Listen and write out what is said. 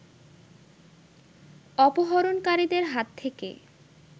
অপহরণকারীদের হাত থেকে